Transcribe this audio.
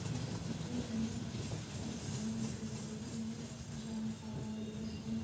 इस पिक्चर में बहुत बड़ा ऑडिटोरियम है जहाँ कार और बस है।